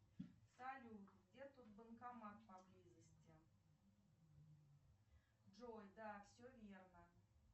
салют где тут банкомат поблизости джой да все верно